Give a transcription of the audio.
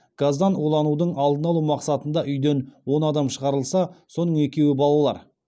газдан уланудың алдын алу мақсатында үйден он адам шығарылса соның екеуі балалар